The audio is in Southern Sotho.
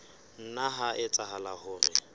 nna ha etsahala hore o